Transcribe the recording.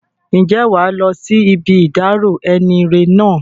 Ǹjẹ́ wàá lọ sí ibi ìdárò enire náà?